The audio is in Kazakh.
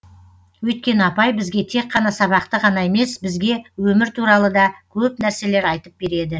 өйткені апай бізге тек қана сабақты ғана емес бізге өмір туралы да көп нәрселер айтып береді